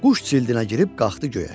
quş cildinə girib qalxdı göyə.